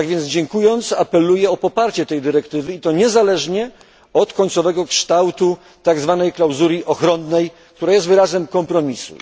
Dziękując, apeluję o poparcie tej dyrektywy i to niezależnie od końcowego kształtu tak zwanej klauzuli ochronnej, która jest wyrazem kompromisu.